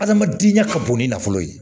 Adamadenya ka bon ni nafolo ye